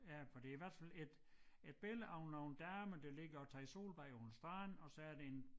Ja for det i hvert fald et et billede af nogle damer der ligger og tager solbad på en strand og så er det en